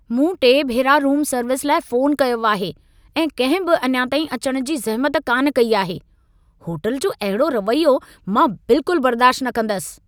मूं टे भेरा रूम सर्विस लाइ फ़ोनु कयो आहे ऐं कंहिं बि अञा ताईं अचण जी ज़हमत कान कई आहे। होटल जो अहिड़ो रवैयो मां बिल्कुल बर्दाश्त न कंदसि।